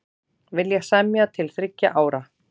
Vilja semja til þriggja ára